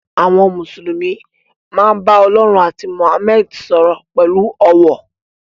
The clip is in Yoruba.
Àwọn Mùsùlùmí máa ń bá Ọlọ́run àti Mohammed sọ̀rọ̀ pẹ̀lú ọ̀wọ̀.